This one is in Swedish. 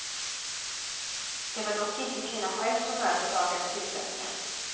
Det var dock inte kvinnan själv som överklagade tillsättningen.